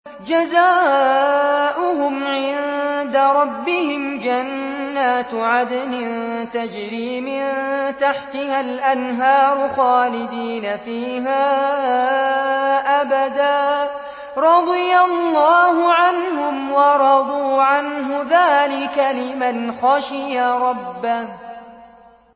جَزَاؤُهُمْ عِندَ رَبِّهِمْ جَنَّاتُ عَدْنٍ تَجْرِي مِن تَحْتِهَا الْأَنْهَارُ خَالِدِينَ فِيهَا أَبَدًا ۖ رَّضِيَ اللَّهُ عَنْهُمْ وَرَضُوا عَنْهُ ۚ ذَٰلِكَ لِمَنْ خَشِيَ رَبَّهُ